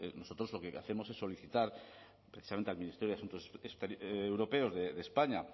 nosotros lo que hacemos es solicitar precisamente al ministerio de asuntos europeos de españa